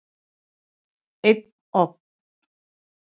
Einn ofn.